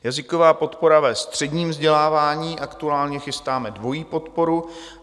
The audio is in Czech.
Jazyková podpora ve středním vzdělávání: aktuálně chystáme dvojí podporu.